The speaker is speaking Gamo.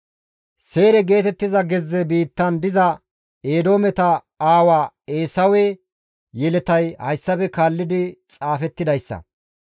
Seyre geetettiza gezze biittan diza Eedoometa aawa Eesawe yeletay hayssafe kaalli xaafettidayssa.